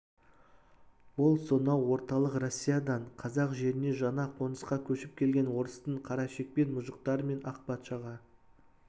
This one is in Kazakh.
ол сонау орталық россиядан қазақ жеріне жаңа қонысқа көшіп келген орыстың қарашекпен мұжықтары мен ақ патшаға